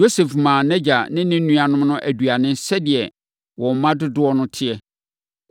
Yosef maa nʼagya ne ne nuanom no aduane sɛdeɛ wɔn mma dodoɔ te.